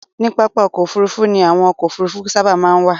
Ní pápá-ọkọ̀ òfurufú ni àwọn ọkọ̀ òfurufú sábà máa ń wà